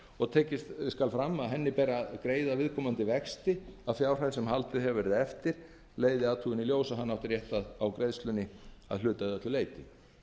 og tekið skal fram að henni ber að greiða viðkomandi vexti af fjárhæð sem haldið hefur verið eftir leiði athugun í ljós að hann átti rétt á greiðslunni að hluta eða öllu leyti